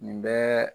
Nin bɛɛ